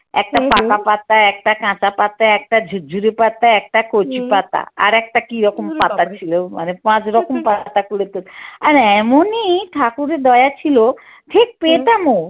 একটা পাকা পাতা, একটা কাঁচা পাতা, একটা ঝুরঝুরে পাতা, একটা কচু পাতা আর একটা কি রকম পাতার ছিল মানে পাঁচ রকম পাতা কুলে তো আর এমনই ঠাকুরের দয়া ছিল ঠিক পেতামও।